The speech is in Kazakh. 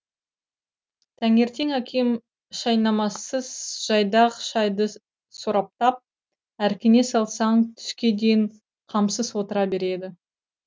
таңертең әкем шайнамасыз жайдақ шайды сораптап әркіне салсаң түске дейін қамсыз отыра береді